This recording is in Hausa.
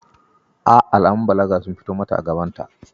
Eh! Alamun balaga sun fito mata a gabanta.